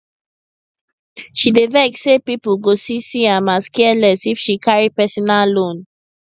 she dey vex say people go see see am as careless if she carry personal loan